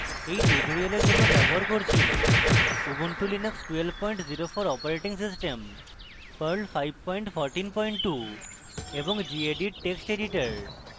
এই tutorial জন্য ব্যবহার করছি